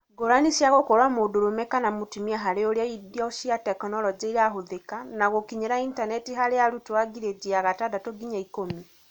Ngũrani cia gũkorwo mũndũrũme kana mũtumia harĩ ũrĩa indo cia tekinoronjĩ irahũthĩka na gũkinyĩra intaneti harĩ arutwo a ngirĩndi ya gatandatũ nginya ikũmi.